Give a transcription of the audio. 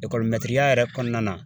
yɛrɛ kɔnɔna na